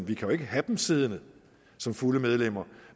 vi kan jo ikke have dem siddende som fulde medlemmer